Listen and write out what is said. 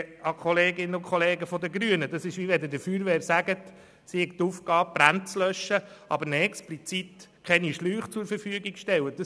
Kolleginnen und Kollegen der Grünen, das ist, als wenn wir der Feuerwehr sagten, sie habe die Aufgabe, Brände zu löschen, ihr aber explizit keine Schläuche zur Verfügung stellen würden.